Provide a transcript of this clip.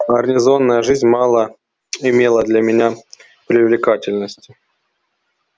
гарнизонная жизнь мало имела для меня привлекательности